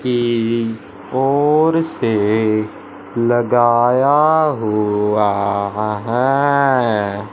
की ओर से लगाया हुआ ह हा आ हैं।